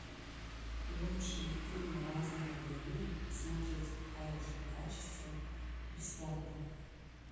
лучшие фильмы разного времени смотреть в хорошем качестве бесплатно